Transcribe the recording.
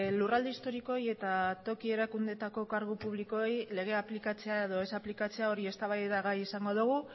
lurralde historikoei eta toki erakundeetako kargu publikoei legea aplikatzea edo ez aplikatzea hori eztabaidagai izan dogu